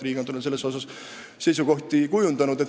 Riigikontroll on selles suhtes oma seisukohti kujundanud.